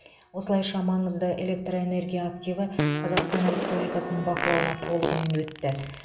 осылайша маңызды электрэнергия активі қазақстан республикасының бақылауына толығымен өтті